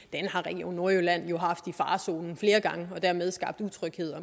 har region nordjylland haft i farezonen flere gange og dermed skabt utryghed og